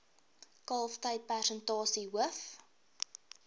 kalftyd persentasie hoof